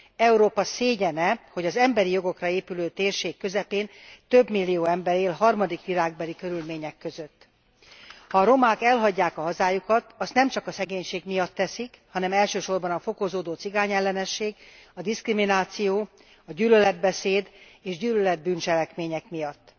Európa szégyene, hogy az emberi jogokra épülő térség közepén több millió ember él harmadik világbeli körülmények között. Ha a romák elhagyják a hazájukat, azt nem csak a szegénység miatt teszik, hanem elsősorban a fokozódó cigányellenesség, a diszkrimináció, a gyűlöletbeszéd és gyűlölet bűncselekmények miatt.